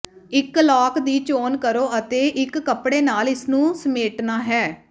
ਇੱਕ ਲਾਕ ਦੀ ਚੋਣ ਕਰੋ ਅਤੇ ਇੱਕ ਕੱਪੜੇ ਨਾਲ ਇਸ ਨੂੰ ਸਮੇਟਣਾ ਹੈ